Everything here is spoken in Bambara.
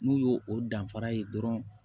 N'u y'o o danfara ye dɔrɔn